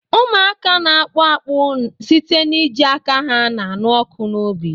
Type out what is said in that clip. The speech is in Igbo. Ụmụaka na-akpụ akpụ site n'iji aka ha na-anụ ọkụ n'obi